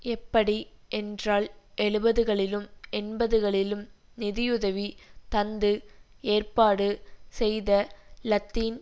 எப்படி என்றால் எழுபதுகளிலும் எண்பதுகளிலும் நிதியுதவி தந்து ஏற்பாடு செய்த லத்தீன்